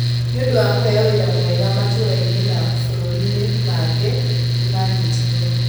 Nĩ ũndũ wa kũheo wĩra mwega matũũra-inĩ na mabũrũri-inĩ mangĩ, nĩ maanyitirũo.